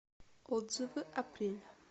отзывы апрель